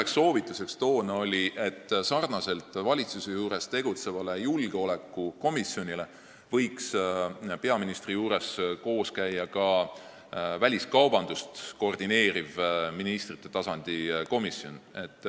Lisaks oli meie üks toonane soovitus, et sarnaselt valitsuse juures tegutseva julgeolekukomisjoniga võiks peaministri juures koos käia ka väliskaubandust koordineeriv ministrite tasandi komisjon.